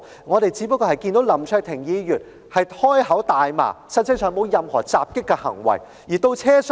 我們只是看到林卓廷議員開口大罵，實際上沒有作出任何襲擊行為。